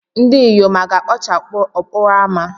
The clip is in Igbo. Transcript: ndinyom a ga-ekpocha okporo ámá?